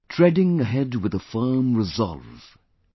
Treading ahead with a firm resolve,